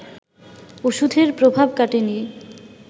ওষুধের প্রভাব কাটেনি